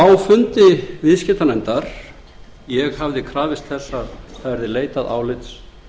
á fundi viðskiptanefndar ég hafði krafist þess að leitað yrði álits